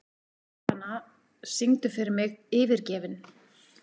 Stefana, syngdu fyrir mig „Yfirgefinn“.